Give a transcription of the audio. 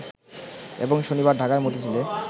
এবং শনিবার ঢাকার মতিঝিলে